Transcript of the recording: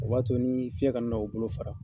O b'a to ni fiɲɛ ka na u bolo fara.